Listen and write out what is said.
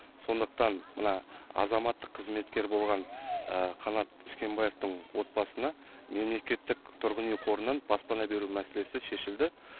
сондықтан мына азаматтық қызметкер болған қанат үшкенбаевтың отбасына мемлекеттік тұрғын үй қорынан баспана беру мәселесі шешілді